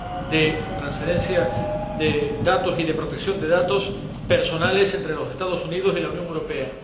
de transferencia de datos y de protección de datos personales entre los Estados Unidos y la Unión Europea.